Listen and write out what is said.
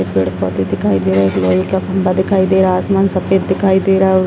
पेड़-पौधे दिखाई दे रहे हैं एक लोहे का खम्बा दिखाई दे रहा है आसमान सफ़ेद दिखाई दे रहा है --